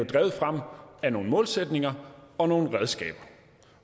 drevet frem af nogle målsætninger og nogle redskaber